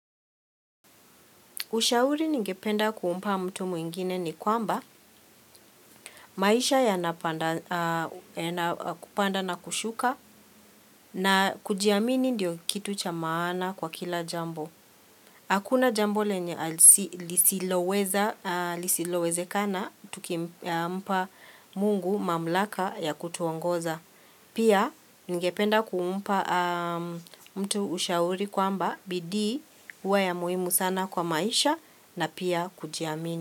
Ushauri ningependa kumpa mtu mwingine ni kwamba maisha yana kupanda na kushuka na kujiamini ndio kitu cha maana kwa kila jambo. Hakuna jambo lenye lisilowezekana tukimpa mungu mamlaka ya kutuongoza. Pia ningependa kuumpa mtu ushauri kwamba bidii huwa ya muhimu sana kwa maisha na pia kujiamini.